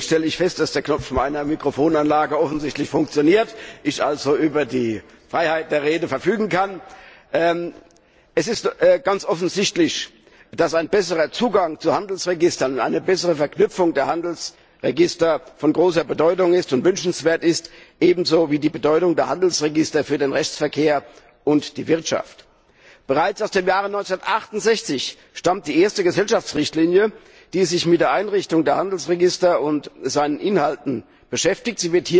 Zunächst stelle ich fest, dass der Knopf meiner Mikrofonanlage offensichtlich funktioniert, ich also über die Freiheit der Rede verfügen kann. Es ist ganz offensichtlich, dass ein besserer Zugang zu Handelsregistern und eine bessere Verknüpfung der Handelsregister von großer Bedeutung und wünschenswert sind, ebenso wie die Bedeutung der Handelsregister für den Rechtsverkehr und die Wirtschaft. Bereits aus dem Jahr 1968 stammt die erste Gesellschaftsrichtlinie, die sich mit der Einrichtung der Handelsregister und seinen Inhalten beschäftigt.